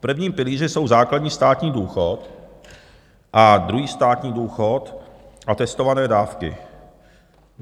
V prvním pilíři jsou základní státní důchod a druhý státní důchod a testované dávky.